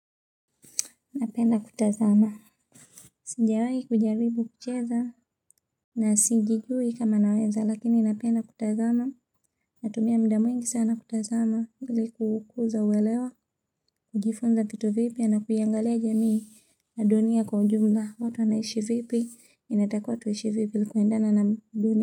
Napenda kutazama sijawahi kujaribu kucheza na sijijui kama naweza lakini napenda kutazama natumia muda mwingi sana kutazama ili kukuza uwelewa kujifunza vitu vipya na kuiangalia jamii na dunia kwa ujumla watu wanaishi vipi inatakiwa tuishi vipi na kuendana na dunia.